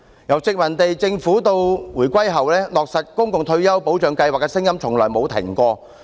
由殖民地政府到回歸後，落實公共退休保障計劃的聲音從沒停止。